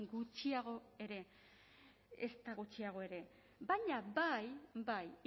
gutxiago ere ezta gutxiago ere baina bai bai